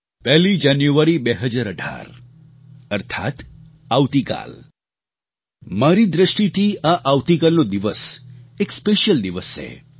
પહેલી જાન્યુઆરી 2018 અર્થાત્ આવતીકાલ મારી દ્રષ્ટિથી આ આવતીકાલનો દિવસ એક સ્પેશ્યલ દિવસ છે